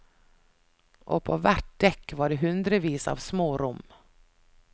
Og på hvert dekk var det hundrevis av små rom.